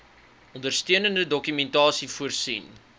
ondersteunende dokumentasie voorsien